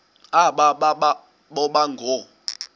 aba boba ngoo